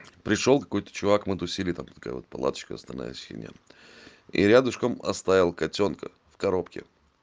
пришёл какой-то чувак мы тусили там такая вот палаточка вставная синяя и рядышком оставил котёнка в коробке